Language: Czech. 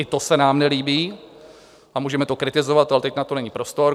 I to se nám nelíbí a můžeme to kritizovat, ale teď na to není prostor.